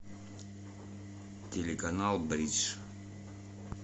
телеканал бридж